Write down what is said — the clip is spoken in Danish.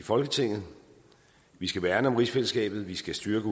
i folketinget vi skal værne om rigsfællesskabet vi skal styrke